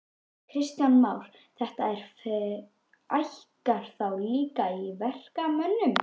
Kristján Már: Þetta fækkar þá líka verkamönnunum?